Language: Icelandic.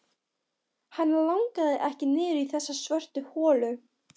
Hana langaði ekki niður í þessa svörtu holu.